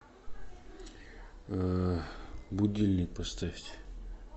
будильник поставьте